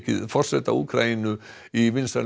forseta Úkraínu í vinsælum